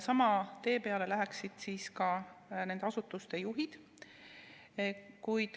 Sama tee peale läheksid ka nende asutuste juhid.